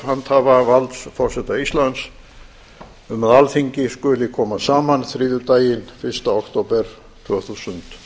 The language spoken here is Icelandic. handhafa valds forseta íslands um að alþingi skuli koma saman þriðjudaginn fyrsta október tvö þúsund